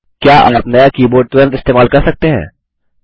क्या आप नया कीबोर्ड तुरंत इस्तेमाल कर सकते हैं